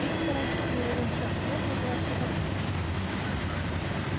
эти паразиты не ровен час слопают у нас всю капусту